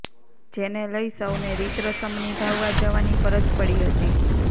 જેને લઇ સૌને રીતરસમ નિભાવવા જવાની ફરજ પડી હતી